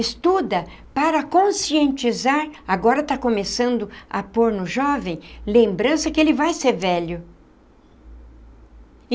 Estuda para conscientizar, agora está começando a pôr no jovem, lembrança que ele vai ser velho.